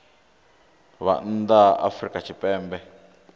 vhe nnḓa ha afrika tshipembe